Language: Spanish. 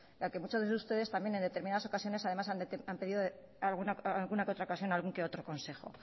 ya que muchas veces ustedes también en determinadas ocasiones además han pedido en alguna que otra ocasión algún u otro consejo